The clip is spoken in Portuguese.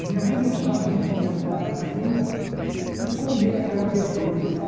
E minha mãe gostava muito de andar por ali e comer aquela verdura e tal.